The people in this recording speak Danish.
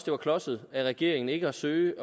var klodset af regeringen ikke at forsøge